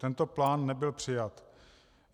Tento plán nebyl přijat.